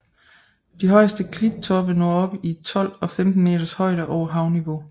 De højeste klittoppe når op i 12 og 15 meters højde over havniveau